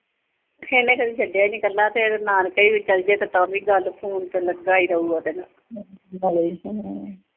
ਇਹਨੂੰ ਕਦੇ ਛੱਡਿਆ ਈ ਨੀਂ ਕੱਲਾ ਤੇ ਜੇ ਨਾਨਕੇ ਵੀ ਚਲਜੇ ਤੇ ਕਰਨੀ ਗੱਲ, ਫੋਨ ਤੇ ਲੱਗਾ ਈ ਰਹੂਗਾ